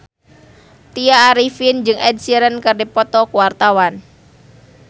Tya Arifin jeung Ed Sheeran keur dipoto ku wartawan